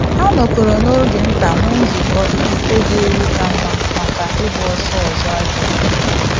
Ha nọkọrọ n'oge nta nwee nzukọ iji kpebie iwu ka mma maka ịgba ọsọ ọzọ a ga-eme